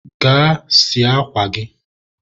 gaa sie akwa gị!